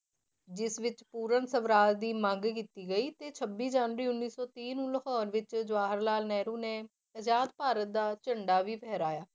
ਜਿਸ ਵਿੱਚ ਪੂਰਨ ਸਵਰਾਜ ਦੀ ਮੰਗ ਕੀਤੀ ਗਈ, ਤੇ ਛੱਬੀ ਜਨਵਰੀ ਉੱਨੀ ਸੌ ਤੀਹ ਨੂੰ ਲਾਹੌਰ ਵਿੱਚ ਜਵਾਹਰ ਲਾਲ ਨਹਿਰੂ ਨੇ ਆਜਾਦ ਭਾਰਤ ਦਾ ਝੰਡਾ ਵੀ ਫਹਰਾਇਆ।